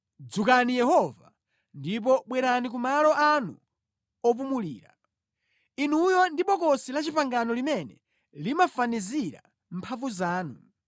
‘Dzukani Yehova, ndipo bwerani ku malo anu opumulira, Inuyo ndi Bokosi la Chipangano limene limafanizira mphamvu zanu.